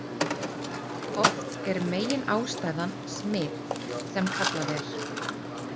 Oft er meginástæðan smit sem kallað er.